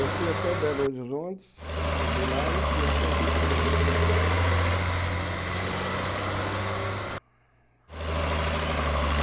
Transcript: Eu fui até Belo Horizonte e de lá eu fui até Divinópolis.